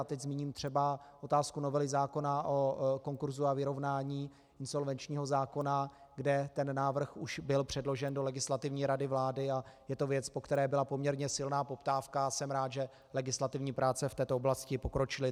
A teď zmíním třeba otázku novely zákona o konkurzu a vyrovnání, insolvenčního zákona, kde ten návrh už byl předložen do Legislativní rady vlády a je to věc, po které byla poměrně silná poptávka, a jsem rád, že legislativní práce v této oblasti pokročily.